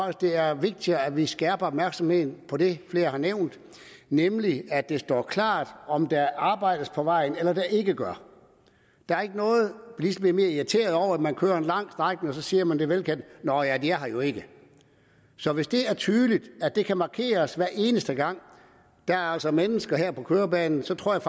at det er vigtigere at vi skærper opmærksomheden på det flere har nævnt nemlig at det står klart om der arbejdes på vejen eller om der ikke gør der er ikke noget bilister bliver mere irriterede over man kører en lang strækning og så siger man det velkendte nå ja de er her jo ikke så hvis det er tydeligt at det kan markeres hver eneste gang at der altså er mennesker her på kørebanen så tror jeg